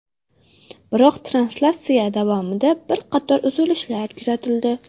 Biroq translyatsiya davomida bir qator uzilishlar kuzatildi.